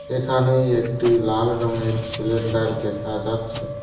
এখানে একটি লাল রংয়ের ছিলেন্ডার দেখা যাচ্ছে।